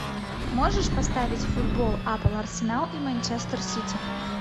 можешь поставить футбол апл арсенал и манчестер сити